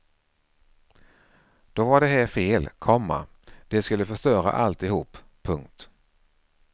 Då var det här fel, komma det skulle förstöra alltihop. punkt